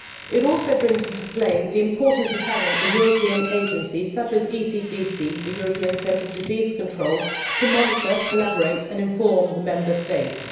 It also brings into play the importance of having a European agency such as the European Centre for Disease Prevention and Control to monitor, collaborate and inform the Member States.